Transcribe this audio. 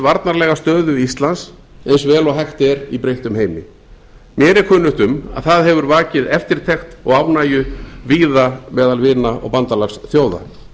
varnarlega stöðu íslands eins vel og hægt er í breyttum heimi mér er kunnugt um að það hefur vakið eftirtekt og ánægju víða meðal vina og bandalagsþjóða